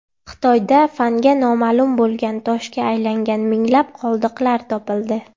Xitoyda fanga noma’lum bo‘lgan toshga aylangan minglab qoldiqlar topildi.